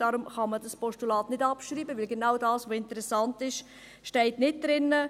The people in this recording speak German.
Deshalb kann man das Postulat nicht abschreiben, weil genau das, was interessant ist, nicht drinsteht.